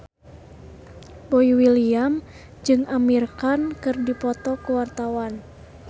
Boy William jeung Amir Khan keur dipoto ku wartawan